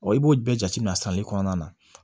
i b'o bɛɛ jate minɛ sani kɔnɔna na